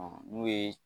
n'o ye